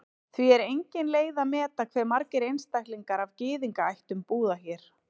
Því er engin leið að meta hve margir einstaklingar af Gyðingaættum búa hér.